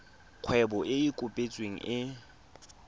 kgwebo e e kopetsweng e